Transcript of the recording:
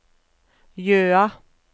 Jøa